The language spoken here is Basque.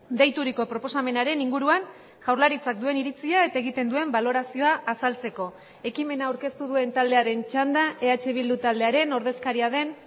deituriko proposamenaren inguruan jaurlaritzak duen iritzia eta egiten duen balorazioa azaltzeko ekimena aurkeztu duen taldearen txanda eh bildu taldearen ordezkaria den